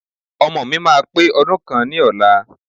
Ọmọọ̀ mi máa pè ọdún kan ni ọ̀la.